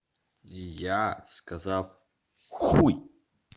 я сказал хуй